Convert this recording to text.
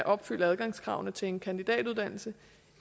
opfylde adgangskravene til en kandidatuddannelse